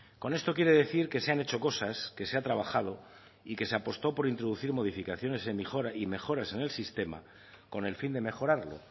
con esto quiero decir que se han hecho cosas que se ha trabajo y que se apostó por introducir modificaciones y mejoras en el sistema con el fin de mejorarlo